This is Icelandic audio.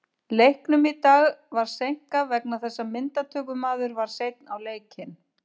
Búlgarska er suðurslavneskt mál, pólska er vesturslavneskt mál en rússneska og hvítrússneska eru austurslavnesk mál.